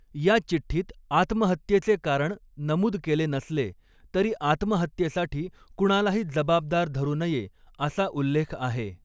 या चिठ्ठीत आत्महत्येचे कारण नमूद केले नसले, तरी आत्महत्येसाठी कुणालाही जबाबदार धरू नये, असा उल्लेख आहे.